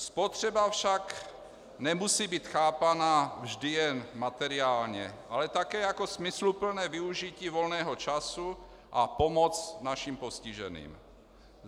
Spotřeba však nemusí být chápaná vždy jen materiálně, ale také jako smysluplné využití volného času a pomoc našim postiženým.